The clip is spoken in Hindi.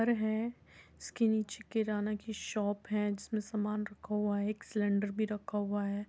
घर है जिसके नीचे एक किराना की शॉप है जिसमे सामान रखा हुआ है एक सिलेंडर भी रखा हुआ है।